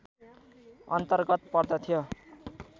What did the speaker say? अन्तर्गत पर्दथ्यो